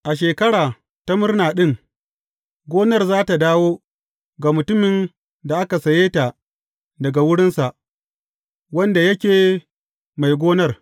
A Shekara ta Murna ɗin, gonar za tă dawo ga mutumin da aka saye ta daga wurinsa, wanda yake mai gonar.